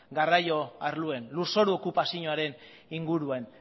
garraio arloan lur zoru okupazioaren inguruan